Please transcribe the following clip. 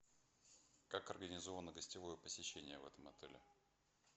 как организовано гостевое посещение в этом отеле